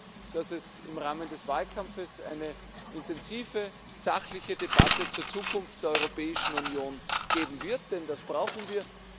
Ich hoffe, dass es im Rahmen des Wahlkampfs eine intensive, sachliche Debatte über die Zukunft der Europäischen Union geben wird, denn das brauchen wir.